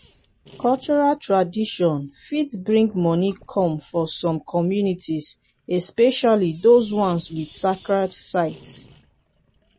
cultural tradition fit bring money come for some communities especially those ones with sacred sites